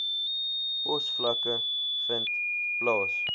posvlakke vind plaas